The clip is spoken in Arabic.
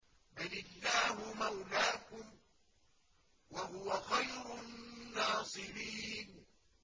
بَلِ اللَّهُ مَوْلَاكُمْ ۖ وَهُوَ خَيْرُ النَّاصِرِينَ